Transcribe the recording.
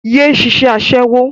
Yé ṣiṣẹ́ Aṣẹ́wó!